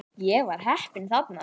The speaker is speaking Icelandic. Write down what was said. Ég var heppinn þarna